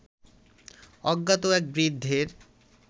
অজ্ঞাত এক বৃদ্ধের